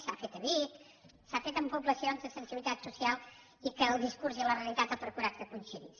s’ha fet a vic s’ha fet en poblacions de sensibilitat social i que el discurs i la realitat ha procurat que coincidís